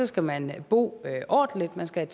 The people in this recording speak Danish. skal man bo ordentligt man skal